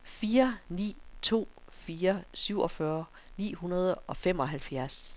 fire ni to fire syvogfyrre ni hundrede og femoghalvfjerds